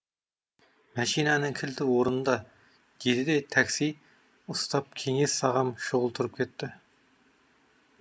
мәшинаның кілті орнында деді де такси ұстап кеңес ағам шұғыл тұрып кетті